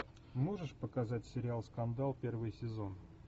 можешь показать сериал скандал первый сезон